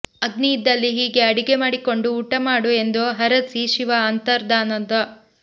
ಅಗ್ನಿ ಇದ್ದಲ್ಲಿ ಹೀಗೆ ಅಡಿಗೆ ಮಾಡಿಕೊಂಡು ಊಟ ಮಾಡು ಎಂದು ಹರಸಿ ಶಿವ ಅಂತರ್ದಾನಾದ